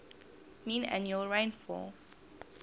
mean annual rainfall